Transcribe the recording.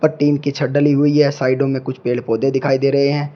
Tin डाली हुई है साइडों में कुछ पेड़ पौधे दिखाई दे रहे हैं।